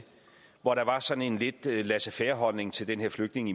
hvor der var sådan en lidt laissez faire holdning til den her flygtninge